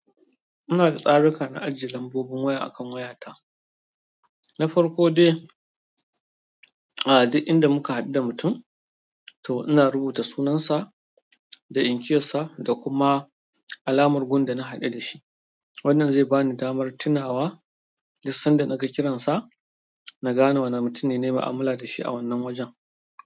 Ina da tsaruka na ajiye lambobin waya akan wayata. Na farko dai, a duk inda muka haɗu da mutum to ina rubuta sunansa da inkiyarsa da kuma alamar gun da na haɗu da shi. Wannan zai bani damar tunawa duk san da na ga kiransa na gane wane mutum ne na yi mu'amala da shi a wannan wajen.